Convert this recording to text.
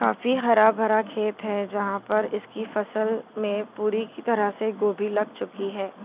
काफी हरा-भरा खेत है। जहां पर इसकी फसल में पूरी की तरह से गोभी लग चुकी है।